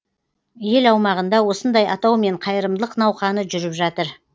ел аумағында осындай атаумен қайырымдылық науқаны жүріп жатыр